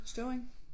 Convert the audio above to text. Støvring